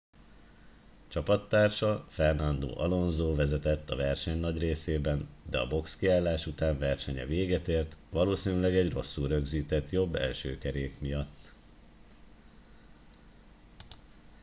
csapattársa fernando alonso vezetett a verseny nagy részében de a boxkiállás után versenye véget ért valószínűleg egy rosszul rögzített jobb első kerék miatt